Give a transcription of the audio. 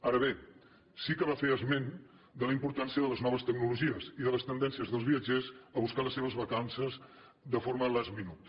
ara bé sí que va fer esment de la importància de les noves tecnologies i de les tendències dels viatgers a buscar les seves vacances de forma last minute